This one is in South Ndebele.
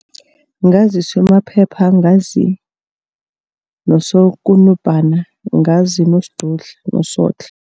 Ngazi uSoMaphepha, ngazi noSoKunubhana, ngazi noSidudla noSotlhe.